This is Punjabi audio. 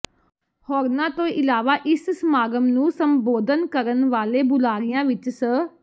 ਹੋਰਨਾਂ ਤੋਂ ਇਲਾਵਾ ਇਸ ਸਮਾਗਮ ਨੂੰ ਸੰਬੋਧਨ ਕਰਨ ਵਾਲੇ ਬੁਲਾਰਿਆਂ ਵਿੱਚ ਸ